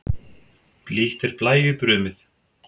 Blítt er blæju brumið.